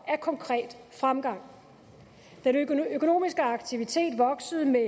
af konkret fremgang den økonomiske aktivitet voksede med